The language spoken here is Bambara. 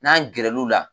N'an gɛrɛ l'u la